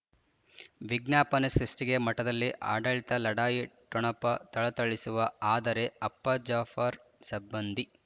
ವಿಜ್ಞಾಪನೆ ಸೃಷ್ಟಿಗೆ ಮಠದಲ್ಲಿ ಆಡಳಿತ ಲಢಾಯಿ ಠೊಣಪ ಥಳಥಳಿಸುವ ಅದರೆ ಅಪ್ಪ ಜಾಫರ್ ಸಬ್ಬಂದಿ